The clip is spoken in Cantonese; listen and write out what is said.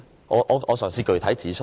我嘗試具體指出。